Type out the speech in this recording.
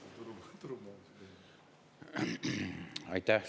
Aitäh!